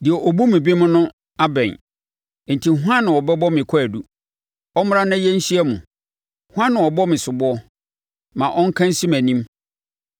Deɛ ɔbu me bem no abɛn. Enti hwan na ɔbɛbɔ me kwaadu? Ɔmmra na yɛnhyia mu! Hwan na ɔbɔ me soboɔ? Ma ɔnka nsi mʼanim!